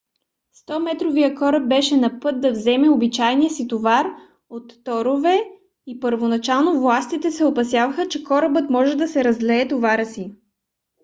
100 - метровият кораб беше на път да вземе обичайния си товар от торове и първоначално властите се опасяваха че корабът може да се разлее товара си